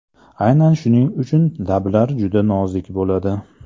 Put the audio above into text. Aynan shuning uchun lablar juda nozik bo‘ladi.